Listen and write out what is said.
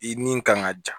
I ni kan ka ja